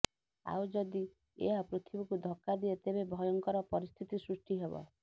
ଆଉ ଯଦି ଏହା ପୃଥିବୀକୁ ଧକ୍କା ଦିଏ ତେବେ ଭୟଙ୍କର ପରିସ୍ଥିତି ସୃଷ୍ଟି ହେବ